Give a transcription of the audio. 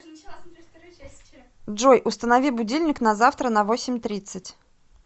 джой установи будильник на завтра на восемь тридцать